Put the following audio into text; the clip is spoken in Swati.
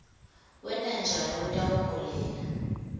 kwenta njalo kutawuholela